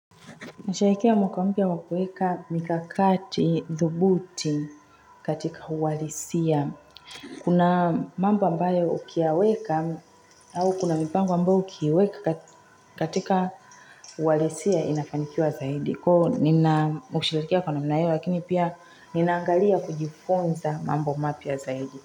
Nishaikia mwakambia wakueka mkakati dhubuti katika uwalisia. Kuna mambo ambayo ukiweka au kuna mipango ambayo ukiweka katika uwalisia inafanikiwa zaidi. Kwa nina mkushilatikia kwa naminayo lakini pia ninaangalia kujifonza mambo mapia zaidi.